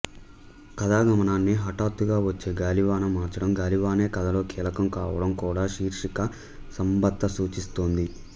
కథాగమనాన్ని హఠాత్తుగా వచ్చే గాలివాన మార్చడం గాలివానే కథలో కీలకం కావడం కూడా శీర్షిక సంబద్ధత సూచిస్తోంది